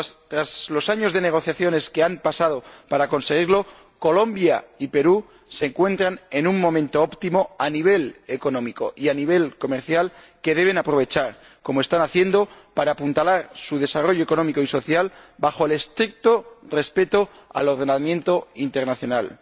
Tras los años de negociaciones que han pasado para conseguirlo, Colombia y el Perú se encuentran en un momento óptimo a nivel económico y a nivel comercial que deben aprovechar, como están haciendo, para apuntalar su desarrollo económico y social bajo el estricto respeto del ordenamiento internacional.